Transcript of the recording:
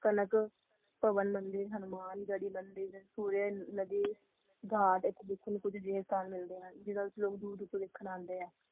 ਕਹਿੰਦੇ ਕਣਕ ਮੰਦਿਰ ਹਨੂੰਮਾਨ ਘਰਿ ਮੰਦਿਰ ਪੂਰੇ ਨਦੀ ਘਾਟ ਵਿਚ ਏ ਇਸ ਜਯਾ